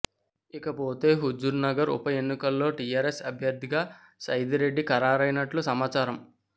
ఇక పోతే హుజుర్నగర్ ఉప ఎన్నికల్లో టీఆర్ఎస్ అభ్యర్థిగా సైదిరెడ్డి ఖరారయినట్లు సమాచారం